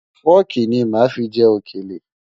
Fọ́ọ̀kì ní màá fi jẹ òkèlè.